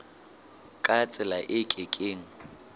ka tsela e ke keng